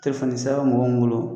Telefɔni sira bɛ mɔgɔ min bolo